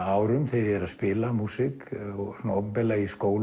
árum þegar ég er að spila músík opinberlega í skólum